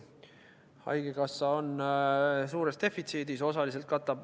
Haigekassa on suures defitsiidis.